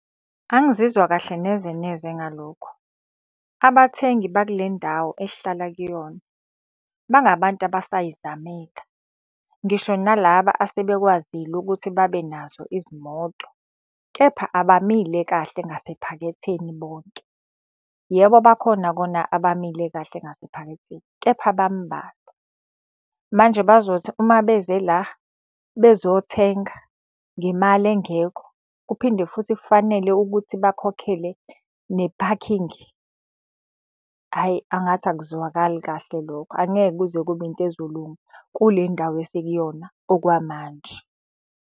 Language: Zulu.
Angizizwa kahle nezeneze ngalokho. Abathengi baku le ndawo esihlala kuyona, bangabantu abasay'zameka. Ngisho nalaba asebekwazile ukuthi babe nazo izimoto, kepha abamile kahle ngasephaketheni bonke. Yebo bakhona kona abamile kahle ngasephaketheni kepha bamubalwa. Manje bazothi uma beze la bezothenga ngemali engekho kuphinde futhi kufanele ukuthi bakhokhele nephakhingi. Hhayi angathi akuzwakali kahle lokho angeke kuze kube into ezolunga kule ndawo esikuyona okwamanje.